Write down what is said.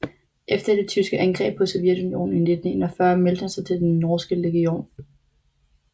Efter det tyske angreb på Sovjetunionen i 1941 meldte han sig til Den norske legion